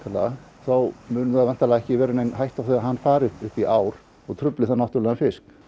þá er ekki hætta á því að hann fari upp í ár og trufli náttúrlegan fisk